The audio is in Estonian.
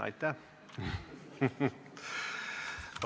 Aitäh!